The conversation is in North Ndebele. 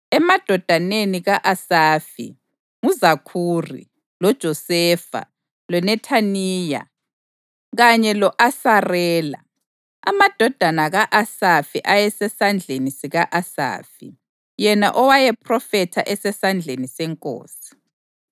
Emadodaneni ka-Asafi: nguZakhuri, loJosefa, loNethaniya kanye lo-Asarela. Amadodana ka-Asafi ayesesandleni sika-Asafi, yena owayephrofetha esesandleni senkosi.